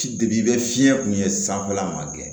i bɛ fiɲɛ kun ye sanfɛla man kɛ